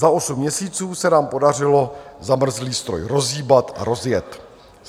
Za osm měsíců se nám podařilo zamrzlý stroj rozhýbat a rozjet.